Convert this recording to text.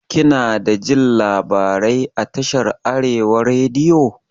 Kinadajin labarai a tashar arewa rediyo?